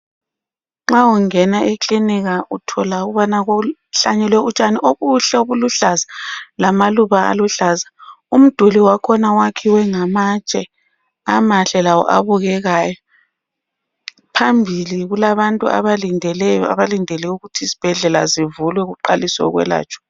Nxa ungena e clinic uthola ukubana kuhlanyelwe utshani obuhle obuluhlaza lamaluba aluhlaza. Umduli wakhona wakhiwe ngamatshe amahle lawo abukekayo, phambili kulabantu abalindeleyo abalindele ukuthi isibhedlela zivulwe kuqaliswe ukwelatshwa.